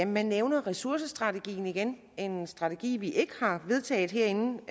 man nævner ressourcestrategien igen en strategi vi ikke har vedtaget herinde